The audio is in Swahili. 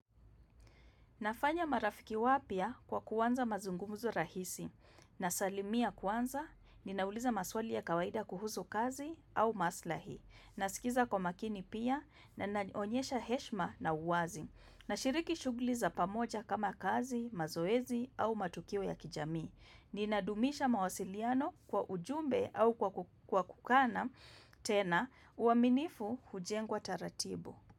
Nafanya marafiki wapya kwa kuanza mazungumuzo rahisi, nasalimia kwanza, ninauliza maswali ya kawaida kuhuzu kazi au maslahi, nasikiza kwa makini pia, na naonyesha heshima na uwazi, nashiriki shughuli za pamoja kama kazi, mazoezi au matukio ya kijamii. Ninadumisha mawasiliano kwa ujumbe au kwa kukana tena, uaminifu hujengwa taratibu.